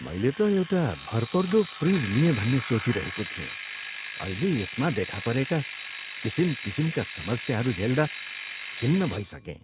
मैले त एउटा भरपर्दो फ्रिजको लिएँ भन्ने सोचिरहेको थिएँ। अहिले यसमा देखा परेका किसिम किसिमका समस्याहरू झेल्दा खिन्न भइसकेँ।